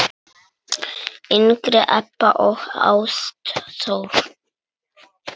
yngri Ebba og Ástþór.